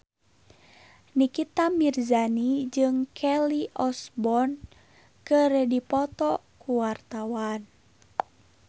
Nikita Mirzani jeung Kelly Osbourne keur dipoto ku wartawan